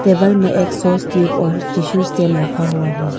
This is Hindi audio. टेबल में एक सॉस ट्यूब और टिशू स्टेन रखा हुआ है।